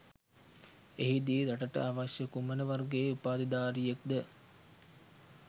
එහිදී රටට අවශ්‍ය කුමන වර්ගයේ උපාධිධාරියෙක්ද